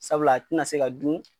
Sabula a ti na se ka dun